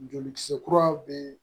Jolikisɛ kura be